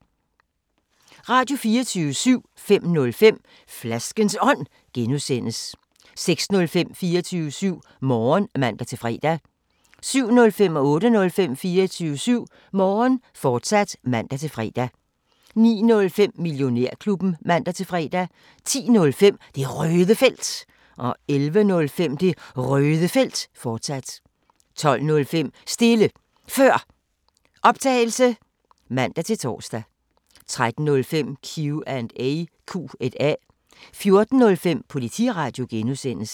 Radio24syv